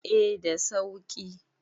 eh da sauki